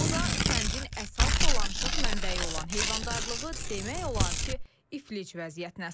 Bu da kəndin əsas dolanışıq mənbəyi olan heyvandarlığı demək olar ki, iflic vəziyyətinə salıb.